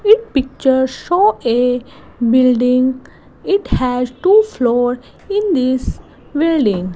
it picture show a building it has two floor in this building.